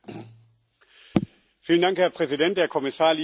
Herr Präsident, Herr Kommissar, liebe Kolleginnen und Kollegen!